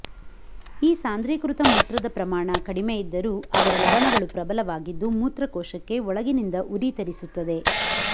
ಈ ಸಾಂದ್ರೀಕೃತ ಮೂತ್ರದ ಪ್ರಮಾಣ ಕಡಿಮೆ ಇದ್ದರೂ ಇದರ ಲವಣಗಳು ಪ್ರಬಲವಾಗಿದ್ದು ಮೂತ್ರಕೋಶಕ್ಕೆ ಒಳಗಿನಿಂದ ಉರಿ ತರಿಸುತ್ತದೆ